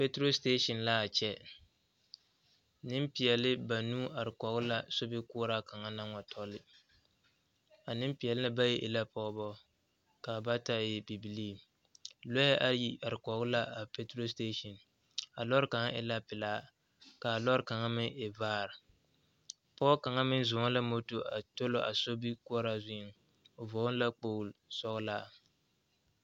Peturo sitaaseŋ laa kyԑ. Nempeԑle banuu are kͻge la sobikoͻraa kaŋa naŋ wa tͻle. A nempeԑ na ba yi e la pͻgebͻ kaa bata e bibilii. Lͻԑ ayi are kͻge la a peturo sitaaseŋ. a lͻre kaŋa e la pelaa kaa lͻre kaŋa meŋ e vaare. Pͻge kaŋa meŋ zͻͻŋ la moto a tͻlͻ a sobikoͻraa zuŋ o vͻgele la kpooli sͻgelaa.